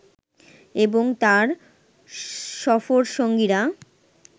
এবং তার সফরসঙ্গীরা